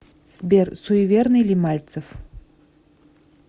сбер суеверный ли мальцев